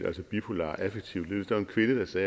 altså bipolar affektiv lidelse